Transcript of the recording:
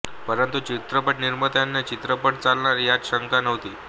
परंतु चित्रपट निर्मात्यांना चित्रपट चालणार यात शंका नव्हती